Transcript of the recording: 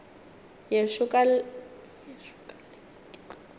yešo ka leke ke tloge